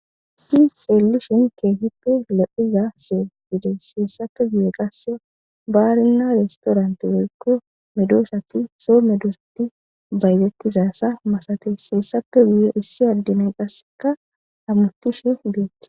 Issi xeellishen keehippe lo'iza soho gides. He sappe guye qasse baarinna restoranti woykko medoosati soo medosati baytettizasa masatasaassappe guye issi adde nayikka qasseka hamatishe deettes.